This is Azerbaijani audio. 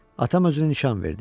Atam özünü nişan verdi.